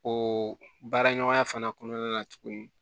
O baara ɲɔgɔnya fana kɔnɔna na tuguni